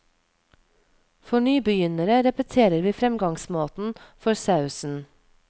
For nybegynnere repeterer vi fremgangsmåten for sausen.